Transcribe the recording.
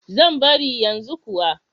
Zan bari yanzu kuwa.